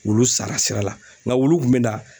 Wulu sara sira la nka wulu kun bɛ na